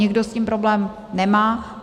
Někdo s tím problém nemá.